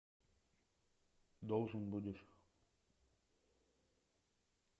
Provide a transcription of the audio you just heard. должен будешь